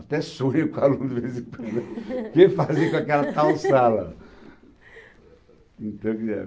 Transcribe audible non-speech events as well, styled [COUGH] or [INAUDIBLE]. Até sonho com alunos de vez em quando, [LAUGHS] ver ele fazendo aquela [UNINTELLIGIBLE] está entendendo?